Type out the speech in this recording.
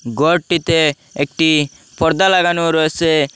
ঘরটিতে একটি পর্দা লাগানো রয়েসে ।